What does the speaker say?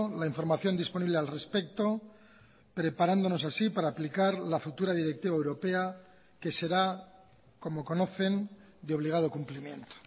la información disponible al respecto preparándonos así para aplicar la futura directiva europea que será como conocen de obligado cumplimiento